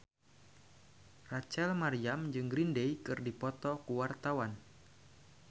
Rachel Maryam jeung Green Day keur dipoto ku wartawan